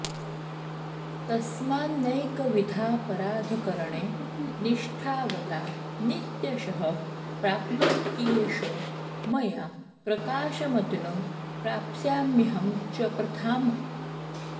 तस्मान्नैकविधापराधकरणे निष्ठावता नित्यशः प्राप्नोत्येष मया प्रकाशमतुलं प्राप्स्याम्यहं च प्रथाम्